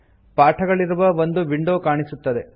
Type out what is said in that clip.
ಪಾಠಗಳಿರುವ ಒಂದು ವಿಂಡೋ ಕಾಣಿಸುತ್ತದೆ